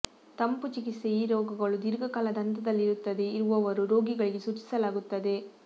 ತಂಪು ಚಿಕಿತ್ಸೆ ಈ ರೋಗಗಳು ದೀರ್ಘಕಾಲದ ಹಂತದಲ್ಲಿರುತ್ತದೆ ಇರುವವರು ರೋಗಿಗಳಿಗೆ ಸೂಚಿಸಲಾಗುತ್ತದೆ